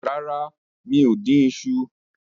Rara, mi o din iṣu